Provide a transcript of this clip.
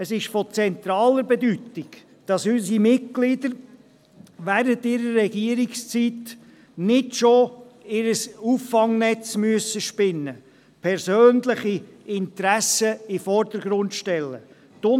Es ist von zentraler Bedeutung, dass unsere Mitglieder während ihrer Regierungszeit nicht bereits ihr Auffangnetz spinnen und persönliche Interessen in den Vordergrund stellen müssen.